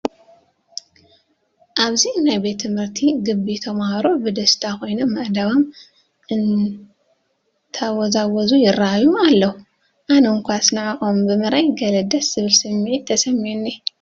ኣብዚ ናይ ቤት ትምህርቲ ግቢ ተመሃሮ ብደስታ ኮይኖም ኣእዳዎም እንተወዛውዙ ይርኣዩ ኣለዉ፡፡ ኣነ እዃስ ንዖኦም ብምርኣይ ገለ ደስ ዝብል ስምዒት ተሰሚዑኒ፡፡